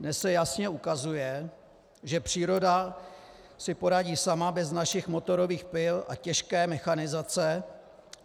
Dnes se jasně ukazuje, že příroda si poradí sama bez našich motorových pil a těžké mechanizace.